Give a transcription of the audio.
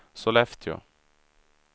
Sollefteå